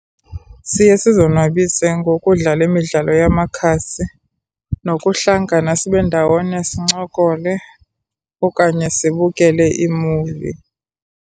Siye sizonwabise ngokudlala imidlalo yamakhasi nokuhlangana sibe ndawone, sincokole okanye sibukele iimuvi.